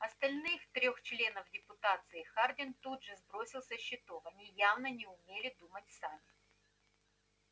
остальных трёх членов депутации хардин тут же сбросил со счетов они явно не умели думать сами